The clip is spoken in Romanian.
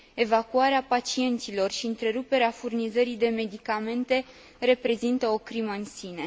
Evacuarea pacienților și întreruperea furnizării de medicamente reprezintă o crimă în sine.